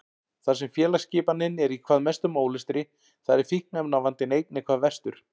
Þar sem félagsskipanin er í hvað mestum ólestri þar er fíkniefnavandinn einnig hvað verstur.